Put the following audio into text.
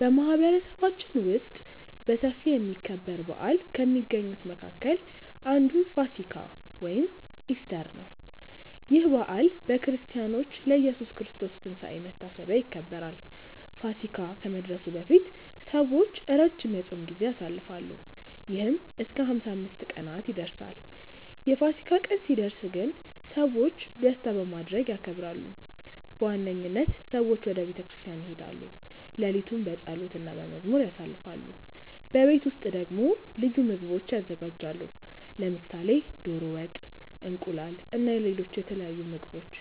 በማህበረሰባችን ውስጥ በሰፊ የሚከበር በዓል ከሚገኙት መካከል አንዱ ፋሲካ (ኢስተር) ነው። ይህ በዓል በክርስቲያኖች ለኢየሱስ ክርስቶስ ትንሳኤ መታሰቢያ ይከበራል። ፋሲካ ከመድረሱ በፊት ሰዎች ረጅም የጾም ጊዜ ያሳልፋሉ፣ ይህም እስከ 55 ቀናት ይደርሳል። የፋሲካ ቀን ሲደርስ ግን ሰዎች ደስታ በማድረግ ያከብራሉ። በዋነኝነት ሰዎች ወደ ቤተ ክርስቲያን ይሄዳሉ፣ ሌሊቱን በጸሎት እና በመዝሙር ያሳልፋሉ። በቤት ውስጥ ደግሞ ልዩ ምግቦች ይዘጋጃሉ፣ ለምሳሌ ዶሮ ወጥ፣ እንቁላል እና ሌሎች የተለያዩ ምግቦች።